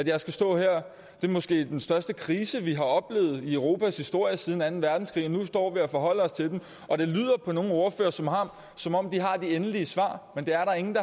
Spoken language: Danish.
jeg skal stå her det er måske den største krise vi har oplevet i europas historie siden anden verdenskrig nu står vi og forholder os til den og det lyder på nogle ordførere som som om de har de endelige svar men det er der ingen